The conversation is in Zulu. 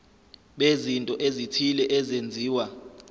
bezinto ezithile ezenziwa